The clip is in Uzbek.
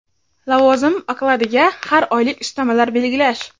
lavozim okladiga har oylik ustamalar belgilash;.